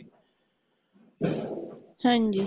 ਹਾਂਜੀ